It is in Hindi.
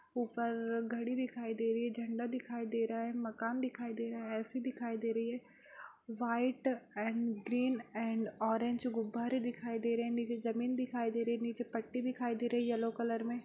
ऊपर घड़ी दिखाई दे रही है झंडा दिखाई दे रहा है मकान दिखाई दे रहा है ए.सी. दिखाई दे रही है white and green and orange गुब्बारें दिखाई दे रहें हैं निचे जमीन दिखाई दे रही है निचे पट्टी दिखाई दे रही है यल्लो कलर में।